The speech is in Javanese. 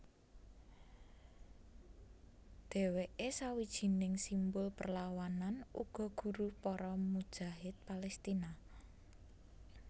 Dheweke sawijining simbul perlawanan uga guru para mujahid Palestina